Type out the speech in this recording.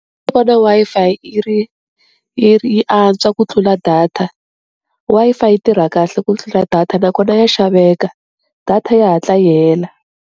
Ndzi vona Wi-Fi yi ri yi ri yi antswa ku tlula data, Wi-Fi yi tirha kahle ku tlula data nakona ya xaveka, data ya hatla yi hela.